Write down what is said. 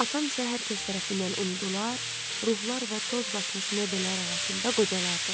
Atam isə hər kəs tərəfindən unudular, ruhlar və toz basmış mebellər arasında qocalardı.